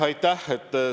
Aitäh!